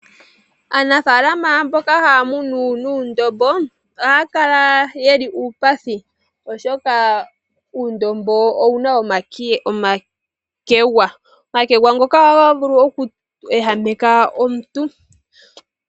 Aanafalama mboka haya munu uundombo ohaya kala yeli uupathi, oshoka uundombo owuna omakegwa. Omakegwa ngoka ohaga vulu okweehameka omuntu.